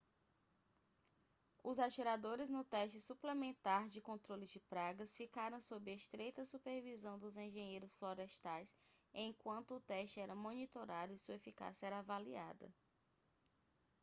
os atiradores no teste suplementar de controle de pragas ficaram sob estreita supervisão dos engenheiros florestais enquanto o teste era monitorado e sua eficácia era avaliada